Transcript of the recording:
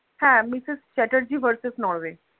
হ্যাঁ misuse Chatterjee versus Norway